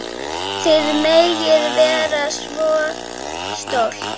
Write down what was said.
Þið megið vera svo stolt.